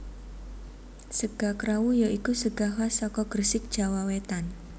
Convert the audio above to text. Sega krawu ya iku sega khas saka Gresik Jawa Wetan